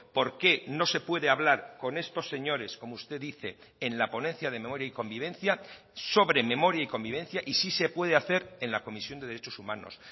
por qué no se puede hablar con estos señores como usted dice en la ponencia de memoria y convivencia sobre memoria y convivencia y sí se puede hacer en la comisión de derechos humanos